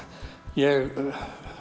ég